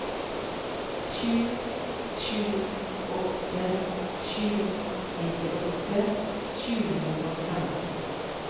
sju sju åtte sju nittiåtte sju hundre og fem